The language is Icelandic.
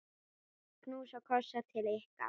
Knús og kossar til ykkar.